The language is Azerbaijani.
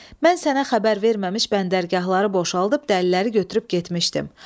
Mən sənə xəbər verməmiş bəndərgahları boşaldıb dəliləri götürüb getmişdim.